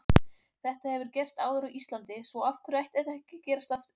Þetta hefur gerst áður á Íslandi svo af hverju ætti þetta ekki að gerast aftur?